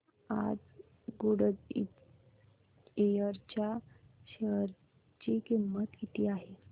आज गुडइयर च्या शेअर ची किंमत किती आहे